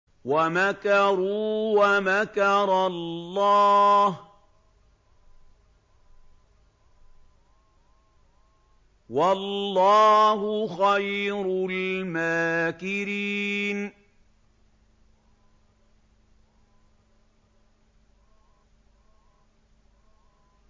وَمَكَرُوا وَمَكَرَ اللَّهُ ۖ وَاللَّهُ خَيْرُ الْمَاكِرِينَ